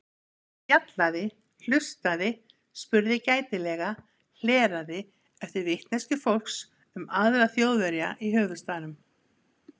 Ég spjallaði, hlustaði, spurði gætilega, hleraði eftir vitneskju fólks um aðra Þjóðverja í höfuðstaðnum.